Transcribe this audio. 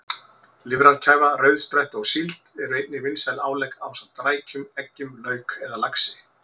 Lifrarkæfa, rauðspretta og síld eru einnig vinsæl álegg ásamt rækjum, eggjum, lauk eða laxi.